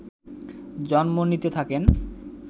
জন্ম নিতে থাকেন